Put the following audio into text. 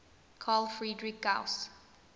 carl friedrich gauss